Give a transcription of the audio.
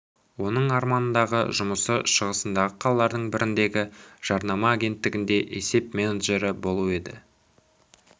оның арманындағы жұмысы шығысындағы қалалардың біріндегі жарнама агенттігінде есеп менеджері болу еді